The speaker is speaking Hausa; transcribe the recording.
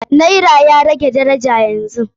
Naira ya rage daraja yanzu.